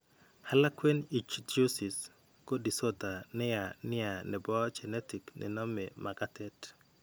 Harlequin ichthyosis ko disorder ne yaa nia ne po genetic ne nome makateet.